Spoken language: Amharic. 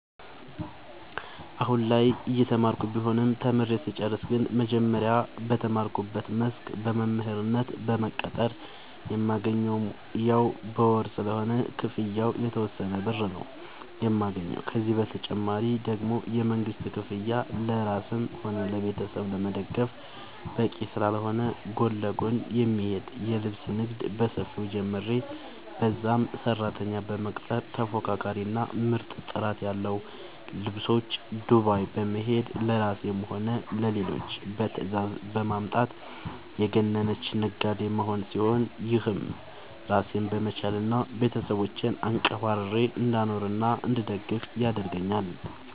አሁላይ እየተማርኩ ቢሆንም ተምሬ ስጨርስ ግን መጀመሪያ በተማርኩበት መስክ በመምህርነት በመቀጠር የማገኘውም ያው በወር ስለሆነ ክፍያው የተወሰነ ብር ነው የማገኘው፤ ከዚህ ተጨማሪ ደግሞ የመንግስት ክፍያ ለራስም ሆነ ቤተሰብ ለመደገፍ በቂ ስላልሆነ ጎን ለጎን የሚሄድ የልብስ ንግድ በሰፊው ጀምሬ በዛም ሰራተኛ በመቅጠር ተፎካካሪ እና ምርጥ ጥራት ያለው ልብሶች ዱባይ በመሄድ ለራሴም ሆነ ለሌሎች በትዛዝ በማምጣት የገነነች ነጋዴ መሆን ሲሆን፤ ይህም ራሴን በመቻል እና ቤተሰቦቼን አንቀባርሬ እንዳኖርናእንድደግፍ ያረገአኛል።